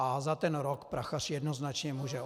A za ten rok Prachař jednoznačně může.